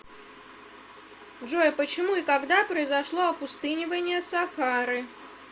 джой почему и когда произошло опустынивание сахары